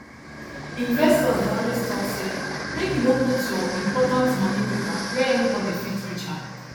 investors dey always talk say make you no put your important money paper where anybody fit reach am